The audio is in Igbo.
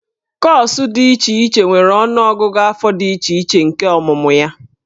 Kọọsụ dị iche iche nwere ọnụọgụgụ afọ dị iche iche nke ọmụmụ ya.